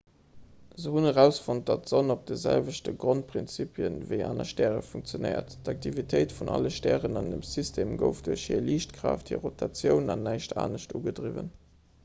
se hunn erausfonnt datt d'sonn op de selwechte grondprinzipien ewéi aner stäre funktionéiert d'aktivitéit vun alle stären an dem system gouf duerch hir liichtkraaft hir rotatioun an näischt anescht ugedriwwen